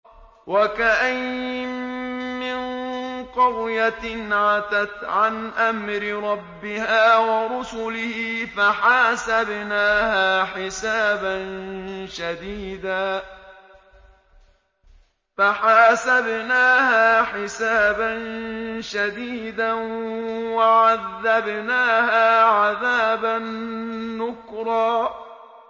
وَكَأَيِّن مِّن قَرْيَةٍ عَتَتْ عَنْ أَمْرِ رَبِّهَا وَرُسُلِهِ فَحَاسَبْنَاهَا حِسَابًا شَدِيدًا وَعَذَّبْنَاهَا عَذَابًا نُّكْرًا